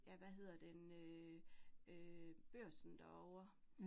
Ja hvad hedder den øh, øh børsen derovre